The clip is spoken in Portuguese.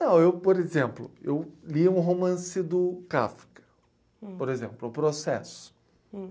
Não, eu, por exemplo, eu lia um romance do Kafka, por exemplo, O Processo.